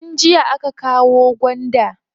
Tun jiya aka kawo gwanda.